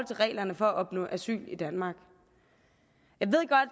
reglerne for at opnå asyl i danmark